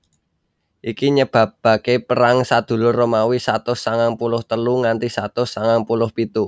Iki nyebabaké Perang Sadulur Romawi satus sangang puluh telu nganti satus sangang puluh pitu